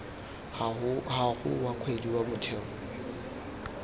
gago wa kgwedi wa motheo